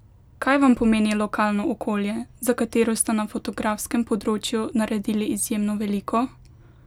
Kaj vam pomeni lokalno okolje, za katero ste na fotografskem področju naredili izjemno veliko?